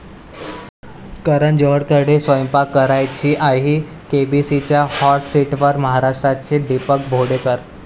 करण जोहरकडे स्वयंपाक करायची आई, केबीसीच्या हाॅट सीटवर महाराष्ट्राचे दीपक भोंडेकर